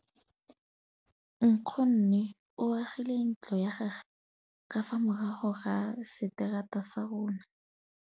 Nkgonne o agile ntlo ya gagwe ka fa morago ga seterata sa rona.